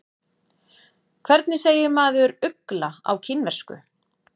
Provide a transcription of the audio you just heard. Hvernig segir maður ugla á kínversku?